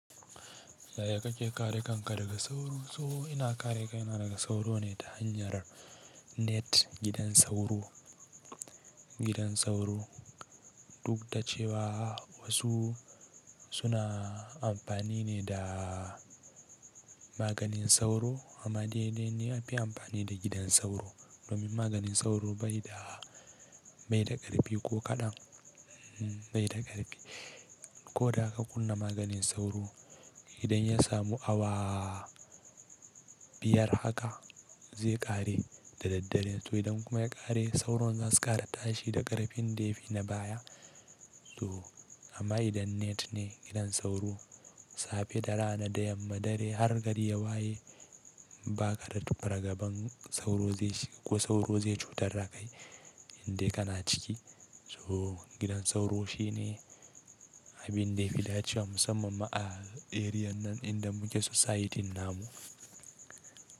Yaya kake kare kanka daga sauro? So ina kare kaina daga sauro ne ta hanyar net gidan sauro, gidan sauro. Duk da cewa, wasu suna amfani ne da maganin sauro amma dai dai ne a fi amfani da gidan sauro domin maganin sauro bai da, bai da ƙarfi ko kaɗan, bai da ƙarfi. Ko da ka kunna maganin sauro, idan ya samu awa biyar haka, zai ƙare da daddare. To idan kuma ya ƙare sauro zasu ƙara tashi da ƙarfin dafi na baya. To amma idan net ne gidan sauro safe da rana, da yamma, dare har gari ya waye ba kaɗa tuƙa raga ban sauro zai shi, ko sauro zai cutar da kai inda kana ciki. To, gidan sauro shine abin da ya fi dacewa, musamman ma a eriyan nan inda muke society namu.